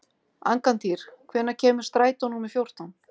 Angantýr, hvenær kemur strætó númer fjórtán?